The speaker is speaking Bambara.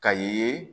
Ka ye